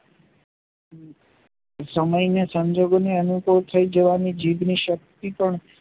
સમય ને સંજોગો ની અનુકૂળ થાય જવાની જીભને શક્તિ પણ